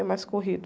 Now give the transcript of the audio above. É mais corrido.